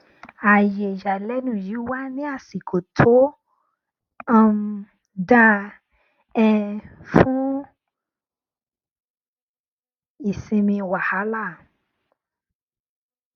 ààyè ìyàlẹnu yìí wá ní àsìkò tó um dáa um fún ìsinmi wàhálà